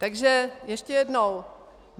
Takže ještě jednou.